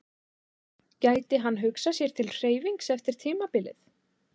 Gæti hann hugsað sér til hreyfings eftir tímabilið?